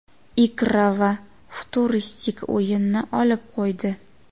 ikra va futuristik o‘yinni olib qo‘ydi.